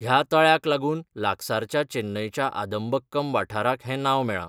ह्या तळ्याक लागून लागसारच्या चेन्नईच्या आदमबक्कम वाठाराक हें नांव मेळ्ळां.